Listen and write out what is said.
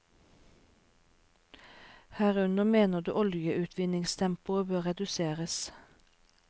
Herunder mener du oljeutvinningstempoet bør reduseres.